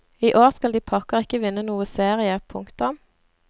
Iår skal de pokker ikke vinne noe serie. punktum